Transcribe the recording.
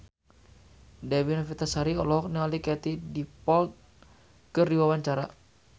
Dewi Novitasari olohok ningali Katie Dippold keur diwawancara